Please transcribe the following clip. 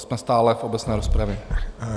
Jsme stále v obecné rozpravě.